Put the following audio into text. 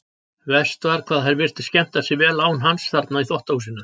Verst var hvað þær virtust skemmta sér vel án hans þarna í þvottahúsinu.